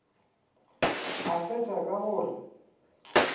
a fetša ka go re